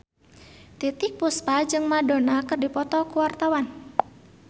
Titiek Puspa jeung Madonna keur dipoto ku wartawan